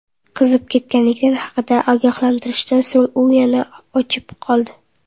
Qizib ketganlik haqidagi ogohlantirishdan so‘ng, u yana o‘chib qoldi.